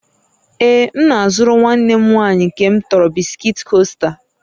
Ee, m na-azụrụ nwanne m nwanyị nke m tọrọ bisikiiti Coaster